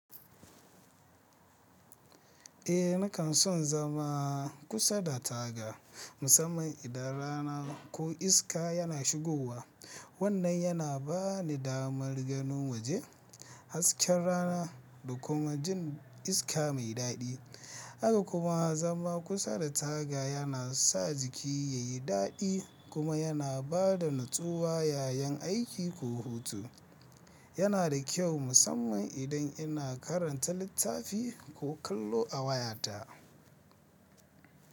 Eh nakan son zama kusa da taga musamman idan rana ko iska yana shigowa. Wannan yana ba ni damar ganin waje, hasken rana da kuma jin iska mai dadi. Haka kuma zama kusa da taga yana sa jiki ya yi dadi kuma yana bada natsuwa yayin aiki ko hutu. Yana da kyau musamman idan ina karanta littafi ko kallo a wayata.